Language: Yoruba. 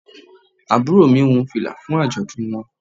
Àbúrò mi wun fìlà fún àjọ̀dún wọn.